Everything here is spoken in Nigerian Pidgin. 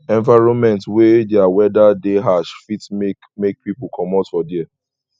environment wey their weather de ash fit make make pipo comot for there